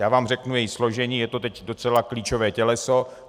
Já vám řeknu její složení, je to teď docela klíčové těleso.